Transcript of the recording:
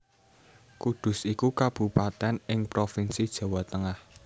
Kudus iku kabupatèn ing Provinsi Jawa Tengah